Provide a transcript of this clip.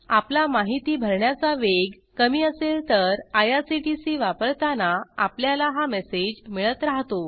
आपला माहिती भरण्याचा वेग कमी असेल तर आयआरसीटीसी वापरताना आपल्याला हा मेसेज मिळत राहतो